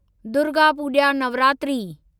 Durga Puja Navratri